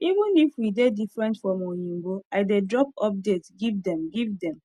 even if we dey different from oyinbo i dey drop update give dem give dem